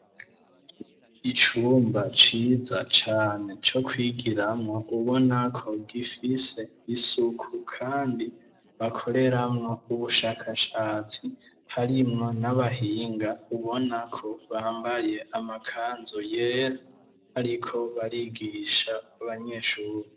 Icumba ciza cane co kwigiramwo ubona ko gifise isuku kandi bakoreramwo ubushakashatsi harimwo n'abahinga ubona ko bambaye amakanzu yera bariko barigisha abanyeshure.